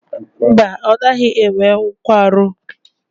Mba, ọ naghị enwe nkwarụ.